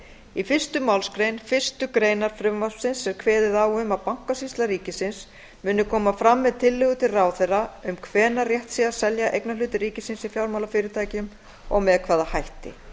í fyrstu málsgrein fyrstu grein frumvarpsins er kveðið á um að bankasýsla ríkisins muni koma fram með tillögur til ráðherra um hvenær rétt sé að selja eignarhluti ríkisins í fjármálafyrirtækjum og með hvaða hætti